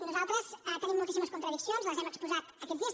nosaltres tenim moltíssimes contradiccions les hem exposat aquests dies